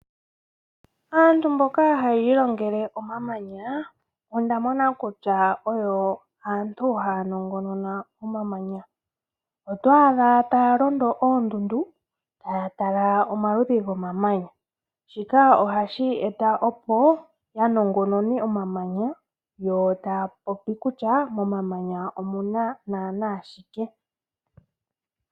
Aantu mboka haya ilongele omamanya oyo aantu haya nongonona omamanya. Oto adha taya londo oondundu taya tala omaludhi gomamanya. Shika ohashi eta opo ya nongonone omamanya yo taya popi kutya momamanya omuna naana shike.